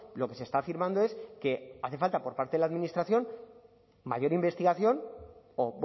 lo que se está afirmando es que hace falta por parte de la administración mayor investigación o